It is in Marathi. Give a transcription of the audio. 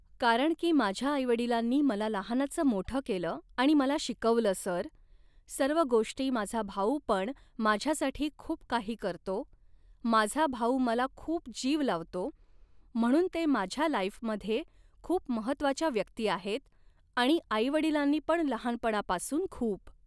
कारण की माझ्या आईवडिलांनी मला लहानाचं मोठं केलं आणि मला शिकवलं सर, सर्व गोष्टी माझा भाऊ पण माझ्यासाठी खूप काही करतो, माझा भाऊ मला खूप जीव लावतो, म्हणून त्या माझ्या लाईफमध्ये खूप महत्त्वाच्या व्यक्ती आहेत आणि आईवडिलांनी पण लहानपणापासून खूप